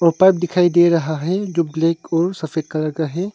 दिखाई दे रहा है जो ब्लैक और सफेद कलर का है।